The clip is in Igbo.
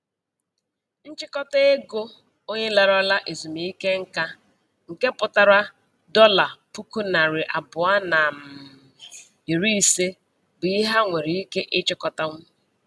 Nchịkọta ego onye larala ezumike nka, nke pụtara dọla puku narị abụọ na um iri ise, bụ ihe ha nwere ike ịchịkọtanwu.